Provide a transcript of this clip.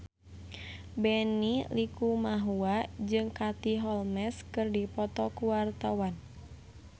Benny Likumahua jeung Katie Holmes keur dipoto ku wartawan